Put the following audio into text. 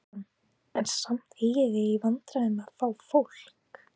Kristján: En samt eigið þið í vandræðum með að fá fólk?